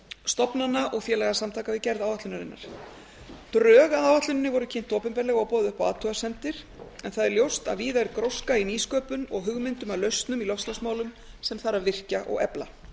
stofnana og félagasamtaka við gerð áætlunarinnar drög að áætluninni voru kynnt opinberlega og boðið upp á athugasemdir en það er ljóst að víða er gróska í nýsköpun og hugmyndum að lausnum í loftslagsmálum sem þarf að virkja og efla